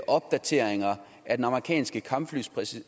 opdateringer af den amerikanske kampflyproducent